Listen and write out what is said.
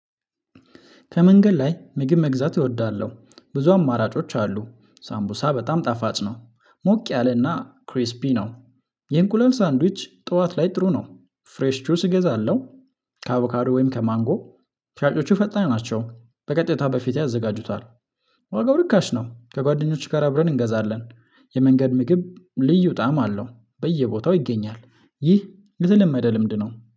ከመንገድ ላይ ምግብ መግዛት እወዳለሁ ብዙ አማራጮች አሉ ሳምቡሳ በጣም ጣፋጭ ነው ሞቅ ያለና ክሪስፒ ነው። የእንቁላል ሳንድዊች ጠዋት ላይ ጥሩ ነው። ፍሬሽ ቹስ እገዛለሁ። ከአቡካዶ ወይም ከማንጎ። ሻጮቹ ፈጣን ናቸው በቀጥታ በፊት ያዘጋጁታል። ዋጋው ርካሽ ነው ከጓደኞችሽ ጋር አብረን እንገዛለን። የመንገድ ምግብ ልዩ ጣዕም አለው በየቦታው ይገኛል ይህ የተለመደ ልምድ ነው